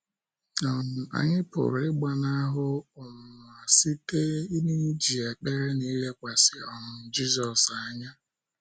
um Anyị pụrụ ịgbanahụ um ọnwụnwa site n’iji ekpere na ilekwasị um Jizọs anya.